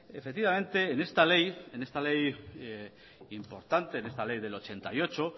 efectivamente en esta ley en esta ley importante en esta ley del ochenta y ocho